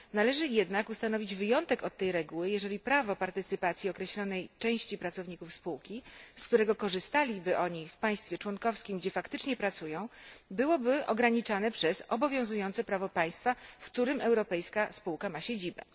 Należy jednak ustanowić wyjątek od tej reguły, jeżeli prawo partycypacji określonej części pracowników spółki, z którego korzystaliby oni w państwie członkowskim, gdzie faktycznie pracują, byłoby ograniczane przez obowiązujące prawo państwa, w którym europejska spółka ma siedzibę.